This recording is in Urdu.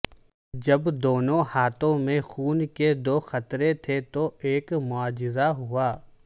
جب دونوں ہاتھوں میں خون کے دو قطرے تھے تو ایک معجزہ ہوا